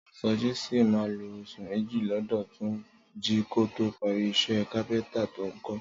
Sọjí sì máa lo oṣù méjì lọ́dọ̀ Túnjí kó tó parí iṣẹ́ kápẹ́ntà tó ń kọ́